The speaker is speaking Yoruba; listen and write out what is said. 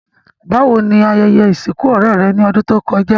Bàwoni ayẹyẹ ìsìnkù ọ̀rẹ́ rẹ́ ni odùn to kojá?